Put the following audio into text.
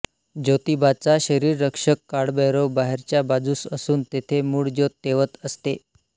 ज्योतिबाचा शरीररक्षक काळभैरव बाहेरच्या बाजूस असून तेथे मूळ ज्योत तेवत असते